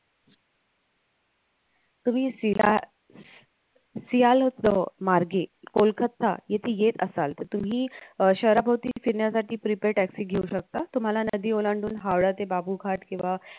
तुम्ही सिला सियाल मार्गे कोलकत्ता येथे येत असाल त तुम्ही शहराभोवती फिरण्यासाठी prepaid taxi घेऊ शकता तुम्हाला नदी ओलांडून हावडा ते बाबूघाट किंवा